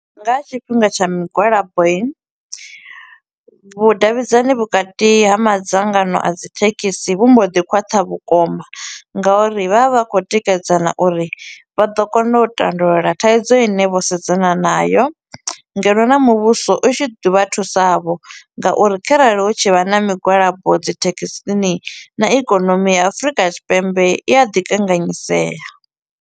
Nga ha tshifhinga tsha migwalabo i, vhudavhidzani vhukati ha madzangano a dzithekhisi vhu mbo ḓi khwaṱha vhukuma nga uri vha vha vha kho u tikedzana uri vha ḓo kona u tandulula thaidzo i ne vho sedzana nayo, ngeno na muvhuso u tshi ḓi vha thusa vho nga uri kharali hu tshi vha na migwalabo dzithekhisini na ikonomi ya Afurika Tshipembe i a ḓi kanganyisea.